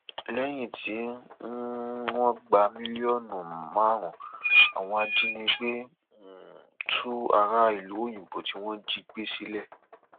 lẹyìn tí um wọn gba mílíọnù márùnún àwọn ajínigbé um tú ará ìlú òyìnbó tí wọn jí gbé sílẹ